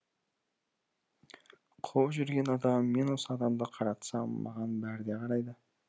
қуып жүрген адам мен осы адамды қаратсам маған бәрі де қарайды